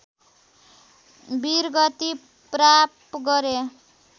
वीरगति प्राप्त गरे